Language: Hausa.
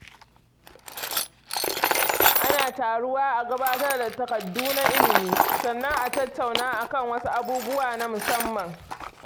Ana taruwa a gabatar da takardu na ilimi, sannan a tattauna a kan wasu abubuwa na musamman.